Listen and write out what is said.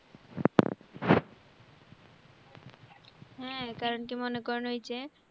হম কারণ কি মনে করেন ওই যে